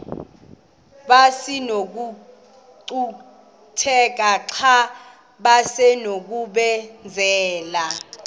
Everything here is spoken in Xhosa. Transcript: besinokucutheka xa besinokubenzela